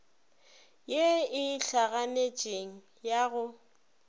ye e itlhaganetšeng ya go